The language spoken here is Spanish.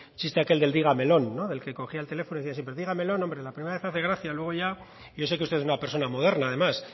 chiste aquel de digamelón el que cogía el teléfono y decía siempre digamelón hombre la primera vez hace gracia luego ya yo sé que usted es una persona moderna además